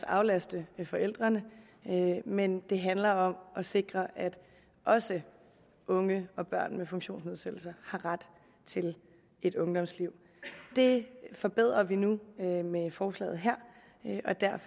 aflaste forældrene men det handler om at sikre at også unge og børn med funktionsnedsættelser har ret til et ungdomsliv det forbedrer vi nu med med forslaget her